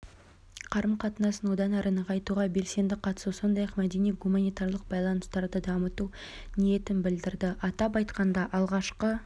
қарым-қатынасын одан әрі нығайтуға белсенді қатысу сондай-ақ мәдени-гуманитарлық байланыстарды дамыту ниетін білдірді атап айтқанда алғашқы